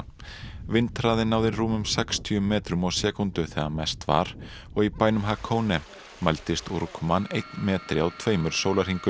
vindhraði náði rúmum sextíu metrum á sekúndu þegar mest var og í bænum mældist úrkoman einn metri á tveimur sólarhringum